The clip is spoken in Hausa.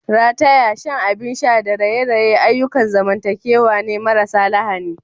Rataya, shan abin sha da raye-raye ayyukan zamantakewa ne marasa lahani.